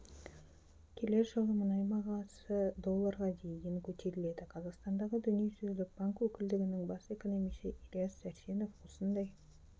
келер жылы мұнай бағасы долларға дейін көтеріледі қазақстандағы дүниежүзілік банк өкілдігінің бас экономисі ілияс сәрсенов осындай